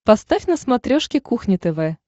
поставь на смотрешке кухня тв